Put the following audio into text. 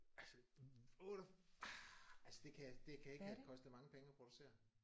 Altså 8 ah altså det kan det kan ikke have kostet mange penge at producere